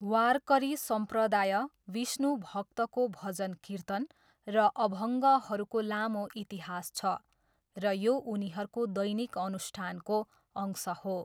वारकरी सम्प्रदाय, विष्णु भक्तको भजन कीर्तन र अभङ्गहरूको लामो इतिहास छ र यो उनीहरूको दैनिक अनुष्ठानको अंश हो।